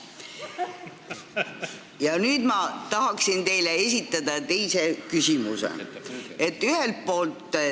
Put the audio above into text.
Ja nüüd ma tahaksin teile esitada teise küsimuse.